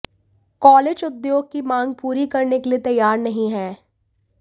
college उद्योग की मांग पूरी करने के लिए तैयार नहीं हैं